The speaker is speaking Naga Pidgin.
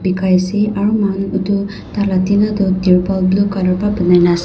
bikai ase aro muhan utu taila tina tu turpal blue color wa banai na ase.